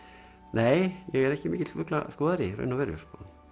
nei ég er ekki mikill fuglaskoðari í raun og veru